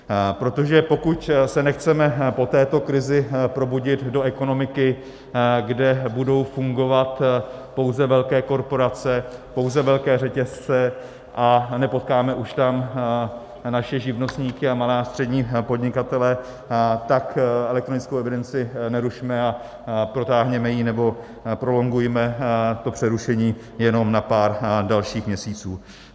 Protože pokud se nechceme po této krizi probudit do ekonomiky, kde budou fungovat pouze velké korporace, pouze velké řetězce a nepotkáme už tam naše živnostníky a malé a střední podnikatele, tak elektronickou evidenci nerušme a protáhněme ji nebo prolongujme to přerušení jenom na pár dalších měsíců.